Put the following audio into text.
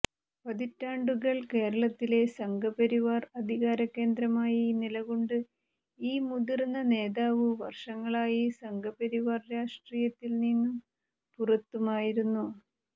പതിറ്റാണ്ടുകൾ കേരളത്തിലെ സംഘപരിവാർ അധികാരകേന്ദ്രമായി നിലകൊണ്ട് ഈ മുതിർന്ന നേതാവ് വർഷങ്ങളായി സംഘപരിവാർ രാഷ്ട്രീയത്തിൽ നിന്നും പുറത്തുമായിരുന്നു